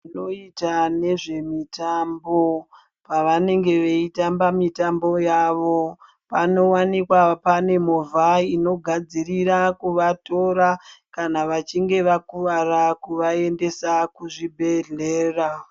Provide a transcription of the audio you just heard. Vanoita nezvemitambo pavanenge veitamba mitambo yavo panowanikwa pane movha inogadzirira kuvatora kana vachinge vakuvara kuvaendesa kuzvibhedhlera.